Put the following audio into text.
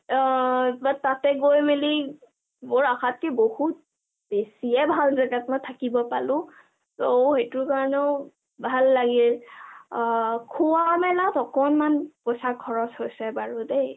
অ অ অ but তাতে গই মেলি মোৰ আশাটি বহুত বেছিয়ে ভাল জেগাত থাকিব পালো মই, তৌ সেইটো কাৰণে মোৰ ভাল লাগিল, অঅ খোৱা-মেলাত অকণমান পইচা খৰচ হৈছে বাৰু দেই